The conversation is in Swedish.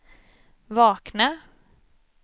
vakna